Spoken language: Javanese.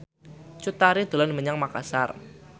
Cut Tari dolan menyang Makasar